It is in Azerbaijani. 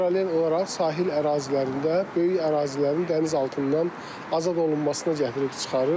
Paralel olaraq sahil ərazilərində böyük ərazilərin dəniz altından azad olunmasına gətirib çıxarır.